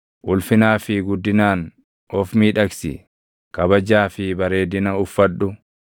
Ulfinaa fi guddinaan of miidhagsi; kabajaa fi barreedina uffadhu.